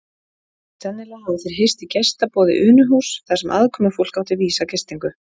Sennilega hafa þeir hist í gestaboði Unuhúss þar sem aðkomufólk átti vísa gistingu.